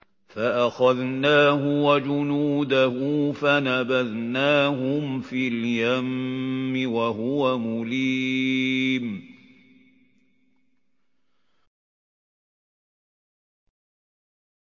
فَأَخَذْنَاهُ وَجُنُودَهُ فَنَبَذْنَاهُمْ فِي الْيَمِّ وَهُوَ مُلِيمٌ